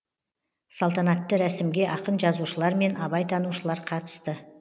салтанатты рәсімге ақын жазушылар мен абайтанушылар қатысты